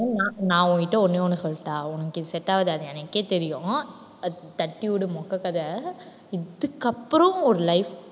நான் நான் உன்கிட்ட ஒண்ணே ஒண்ணு சொல்லட்டா உனக்கு இது set ஆகாது அது எனக்கே தெரியும். அது தட்டி விடு மொக்க கதை. இதுக்கப்புறம் ஒரு life